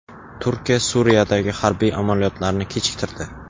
Turkiya Suriyadagi harbiy amaliyotlarni kechiktirdi.